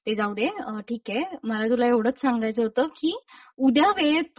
ते जाऊदे ठीक आहे मला तुला एवढंच सांगायचं होत की उद्या वेळेत पोहोच.